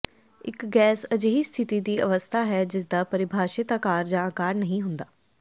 ਇੱਕ ਗੈਸ ਅਜਿਹੀ ਸਥਿਤੀ ਦੀ ਅਵਸਥਾ ਹੈ ਜਿਸਦਾ ਪਰਿਭਾਸ਼ਿਤ ਆਕਾਰ ਜਾਂ ਆਕਾਰ ਨਹੀਂ ਹੁੰਦਾ